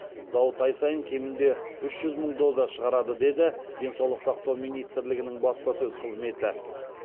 зауыт ай сайын кемінде үш жүз мың доза шығарады деді денсаулық сақтау министрлігінің баспасөз қызметі